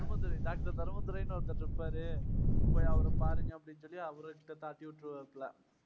தர்ம துரை. டாக்டர் தர்ம துரைன்னு ஒருத்தர் இருப்பாரு. போய் அவரைப் பாருங்க அப்படின்னு சொல்லி கழட்டி விட்டுருவாரு.